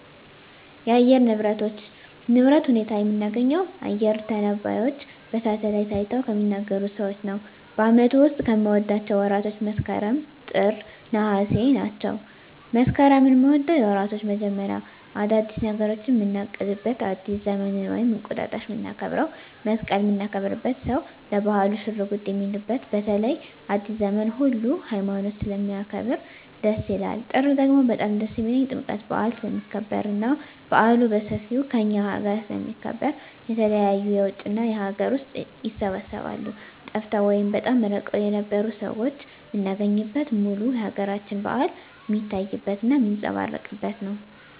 የአየር ንብረቶች ንብረት ሁኔታ የምናገኘው አየረ ተነባዩች በሳሀትአላይት አይተው ከሚናገሩት ሰዎች ነው በአመቱ ዉስጥ ከምወዳቸው ወራቶች መስከረም ጥር ነሃሴ ናቸው መስከረምን ምወደው የወራቶች መጀመሪያ አዳዲስ ነገሮችን ምናቅድበት አዲስ ዘመንን ወይም እንቁጣጣሽ ምናከብረው መሰቀልን ምናከብርበት ሰው ለባህሉ ሽርጉድ ሚልበት በተለይ አዲሰ ዘመንን ሁሉ ሀይማኖት ስለሚያከብር ደስ ይላል ጥር ደግሞ በጣም ደስ የሚልኝ ጥምቀት በአል ስለሚከበር እና በአሉ በሠፌው ከእኛ አገረ ስለሚከበር የተለያዩ የውጭ እና የአገር ውስጥ ይሰባሰባሉ ጠፍተው ወይም በጣም እርቀዉን የነበሩ ሠዎች ምናገኝበት ሙሉ የአገራችን በአል ሜታይበት እና ሜጸባረቅበት ነው